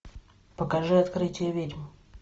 покажи открытие ведьм